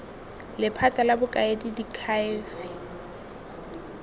lephata la bokaedi la diakhaefe